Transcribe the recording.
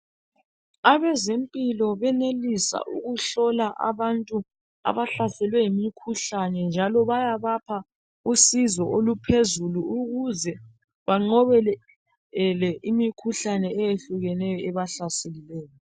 Abezempilo benelisa ukuhlola abantu abahlaselwe yimkhuhlane njalo bayabapha usizo oluphezulu ukuze bengqobe imikhuhlane le ephuzulu ebahlaseleyo